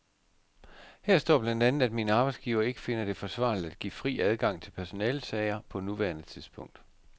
Her står blandt andet, at min arbejdsgiver ikke finder det forsvarligt at give fri adgang til personalesager på nuværende tidspunkt.